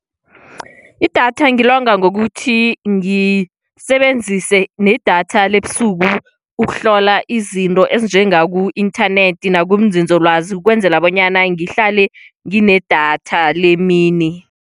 Idatha ngilonga ngokuthi ngisebenzise nedatha lebusuku ukuhlola izinto ezinjengaku-inthanethi nakunzinzolwazi ukwenzela bonyana ngihlale nginedatha lemini.